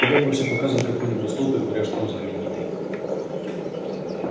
когда гостю показывают какой-нибудь столб и говорят что он знаменитый